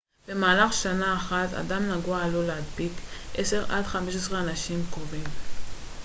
במהלך שנה אחת אדם נגוע עלול להדביק 10 עד 15 אנשים קרובים